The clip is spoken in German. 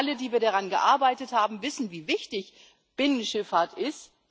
Wir alle, die wir daran gearbeitet haben, wissen, wie wichtig Binnenschifffahrt ist.